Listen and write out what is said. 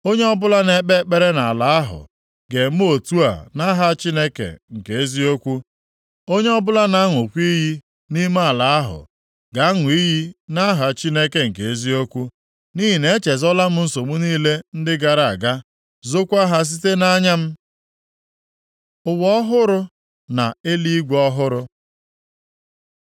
Onye ọbụla na-ekpe ekpere nʼala ahụ, ga-eme otu a nʼaha Chineke nke eziokwu, onye ọbụla na-aṅụkwa iyi nʼime ala ahụ ga-aṅụ iyi nʼaha Chineke nke eziokwu. Nʼihi na-echezolam nsogbu niile ndị gara aga, zokwa ha site nʼanya m. Ụwa ọhụrụ na eluigwe ọhụrụ